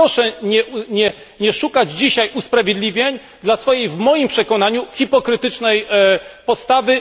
Więc proszę nie szukać dzisiaj usprawiedliwień dla swojej w moim przekonaniu hipokrytycznej postawy.